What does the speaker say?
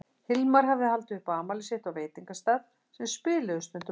Hilmar hafði haldið upp á afmælið sitt á veitingastað sem þeir spiluðu stundum á.